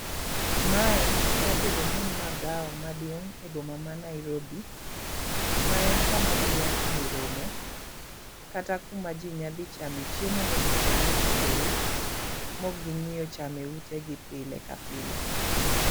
Mae nya bedo ni en magawa maduong' e boma ma Nairobi, ma en kama jii nya time romo kata kuma jii nya dhi chame chiemo mopogore opogore mok ging'iyo chame ute gi pile ka pile.